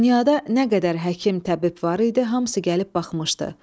Dünyada nə qədər həkim-təbib var idi, hamısı gəlib baxmışdı.